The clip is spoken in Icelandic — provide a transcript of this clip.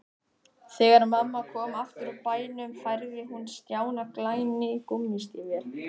Þegar mamma kom aftur úr bænum færði hún Stjána glæný gúmmístígvél.